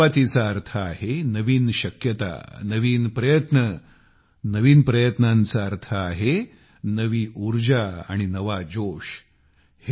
नवीन सुरुवातीचा अर्थ आहे नवीन शक्यतानवीन प्रयत्न नवीन प्रयत्नांचा अर्थ आहे नवी ऊर्जा आणि नवा जोश